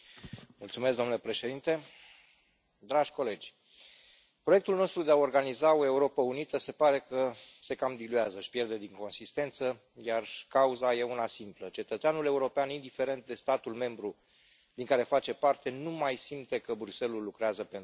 Domnule președinte, dragi colegi, proiectul nostru de a organiza o Europă unită se pare că se cam diluează, își pierde din consistență, iar cauza e una simplă cetățeanul european, indiferent de statul membru din care face parte, nu mai simte că Bruxelles ul lucrează pentru el.